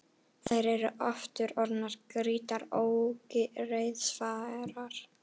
Þær eru aftur orðnar grýttar og ógreiðfærar.